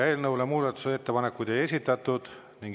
Eelnõu kohta muudatusettepanekuid ei ole esitatud.